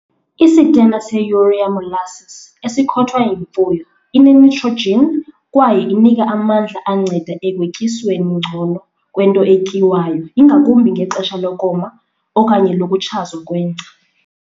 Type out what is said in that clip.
Isitena seurea-molasses esikhothwa yimfuyo inenitrojin kwaye inika amandla anceda ekwetyisweni ngcono kwento etyiwayo ingakumbi ngexesha lokoma okanye lokutshazwa kwengca.